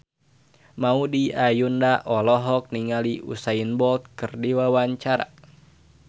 Maudy Ayunda olohok ningali Usain Bolt keur diwawancara